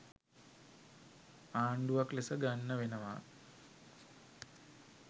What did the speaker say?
ආණ්ඩුවක් ලෙස ගන්න වෙනවා.